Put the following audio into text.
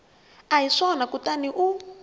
a hi swona kutani u